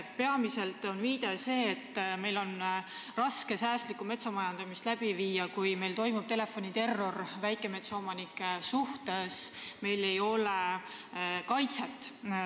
Peamiselt on seal viide sellele, et meil on raske säästlikku metsamajandamist läbi viia, kui meil toimub telefoniterror väikemetsaomanike suhtes, neil ei ole kaitset.